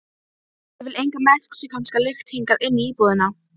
Ég vil enga mexíkanska lykt hingað inn í íbúðina!